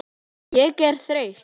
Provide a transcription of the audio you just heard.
Ég er þreytt.